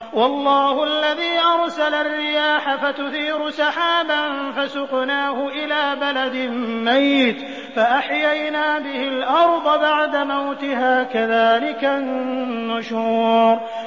وَاللَّهُ الَّذِي أَرْسَلَ الرِّيَاحَ فَتُثِيرُ سَحَابًا فَسُقْنَاهُ إِلَىٰ بَلَدٍ مَّيِّتٍ فَأَحْيَيْنَا بِهِ الْأَرْضَ بَعْدَ مَوْتِهَا ۚ كَذَٰلِكَ النُّشُورُ